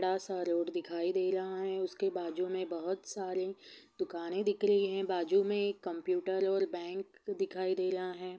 सडा सा रोड दिखाई दे रहा है| उसके बाजू में बहुत सारे दुकान दिख रही है| बाजू में एक कंप्यूटर और बैंक दिखाई दे रहा है ।